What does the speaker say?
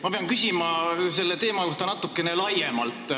Ma pean küsima selle teema kohta natuke laiemalt.